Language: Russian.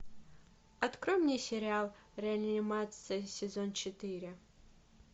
открой мне сериал реанимация сезон четыре